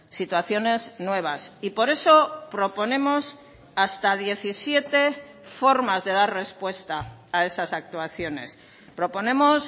situaciones nuevas y por eso proponemos hasta diecisiete formas de dar respuesta a esas actuaciones proponemos